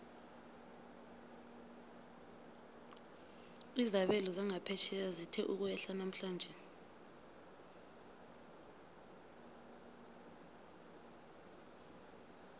izabelo zangaphetjheya zithe ukwehla namhlanje